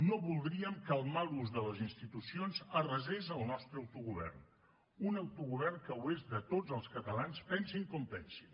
no voldríem que el mal ús de les institucions arrasés el nostre autogovern un autogovern que és de tots els catalans pensin com pensin